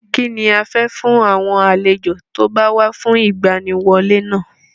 Kínni a fẹ́ fún àwọn àlejò tí ó bá wá fún ìgbaniwọlé náà?